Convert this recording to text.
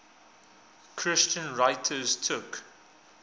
christian writers took